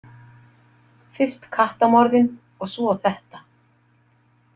Fyrst kattamorðin og svo þetta.